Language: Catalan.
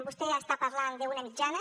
vostè està parlant d’una mitjana